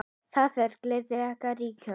Þar réð gleðin ríkjum.